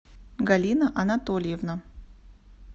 галина анатольевна